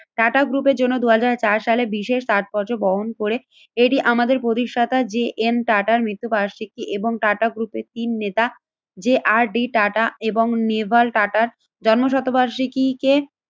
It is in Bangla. টাটা গ্রুপের জন্য দুই হাজার চার সালে বিশেষ তাৎপর্য বহন করে। এটি আমাদের প্রতিষ্ঠাতা যে এম টাটার মৃত্যু বার্ষিকী এবং টাটা গ্রুপে তিন নেতা, যে আর ডি টাটা এবং নেভার টাটার জন্ম শতবার্ষিকীকে